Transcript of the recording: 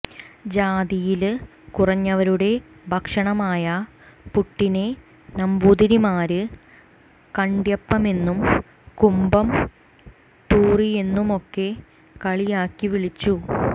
ജാതിയില് കുറഞ്ഞവരുടെ ഭക്ഷണമായ പുട്ടിനെ നമ്പൂതിരിമാര് കണ്ട്യപ്പമെന്നും കുമ്പംതൂറിയെന്നുമൊക്കെ കളിയാക്കി വിളിച്ചു